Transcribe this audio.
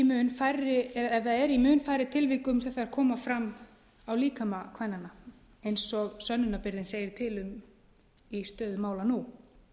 mun færri tilvikum sem þær koma fram á líkama kvennanna eins og sönnunarbyrðin segir til um í stöðu mála nú